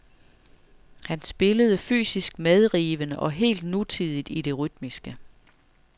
Han spillede fysisk medrivende og helt nutidigt i det rytmiske.